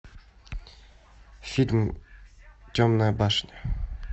фильм темная башня